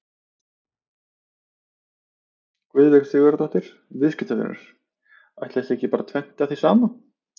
Guðveig Sigurðardóttir, viðskiptavinur: Ætli það sé ekki bara fengið tvennt af því sama?